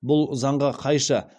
бұл заңға қайшы